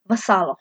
V salo.